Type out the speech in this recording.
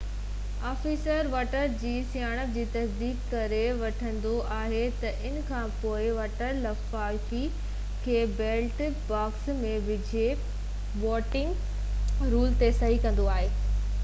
officer voter جي سڃاڻپ جي تصديق ڪري وٺندو آهي ته انکانپوءِ ووٽر لفافي کي بيلٽ باڪس ۾ وجهي ووٽنگ رول تي صحيح ڪندو آهي